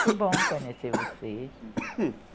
Foi bom conhecer vocês.